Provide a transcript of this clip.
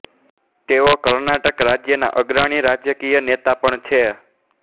તેઓ કર્ણાટક રાજ્યના અગ્રણી રાજકીય નેતા પણ છે